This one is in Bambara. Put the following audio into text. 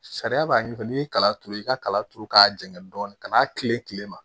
Sariya b'a ɲɛɲini n'i ye kala turu i ka kala turu k'a janya dɔɔnin ka n'a tile tilema